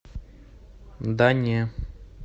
да не